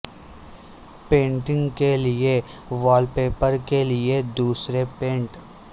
painting کے لئے wall paper کے لئے دوسرے پینٹ